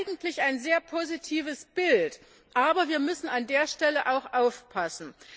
Das ist eigentlich ein sehr positives Bild. Aber wir müssen an der Stelle auch aufpassen.